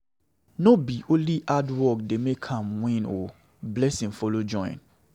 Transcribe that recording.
No be only hard work dey make am win o, blessing follow join.